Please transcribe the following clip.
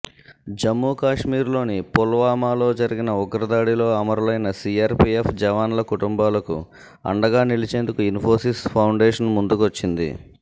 జమ్ముకశ్మీర్లోని పుల్వామాలో జరిగిన ఉగ్రదా డిలో అమరులైన సీఆర్పీఎఫ్ జవాన్ల కుటుంబాలకు అండగా నిలిచేందుకు ఇన్ఫోసిస్ ఫౌండేషన్ ముందు కొచ్చింది